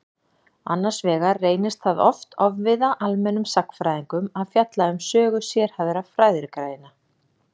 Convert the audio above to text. Annars vegar reynist það oft ofviða almennum sagnfræðingum að fjalla um sögu sérhæfðra fræðigreina.